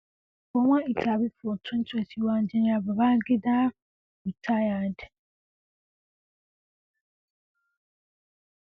for one interview for twenty twenty one Gen Babangida Rtd